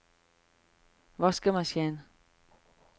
vaskemaskin